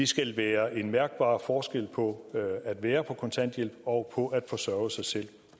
skal være en mærkbar forskel på at være på kontanthjælp og på at forsørge sig selv